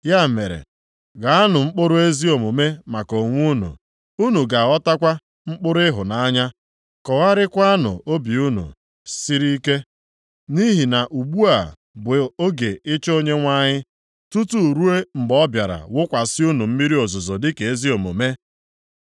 Ya mere, ghaanụ mkpụrụ ezi omume maka onwe unu, unu ga-aghọtakwa mkpụrụ ịhụnanya. Kọgharịakwanụ obi unu siri ike, nʼihi na ugbu a bụ oge ịchọ Onyenwe anyị, tutu ruo mgbe ọ bịara wụkwasị unu mmiri ozuzo dịka ezi omume.